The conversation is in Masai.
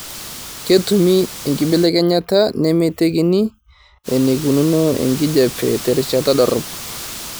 ketumi enkibelekenyata nemeitekini eneikununo enkijiape terishata dorop